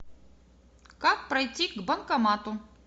как пройти к банкомату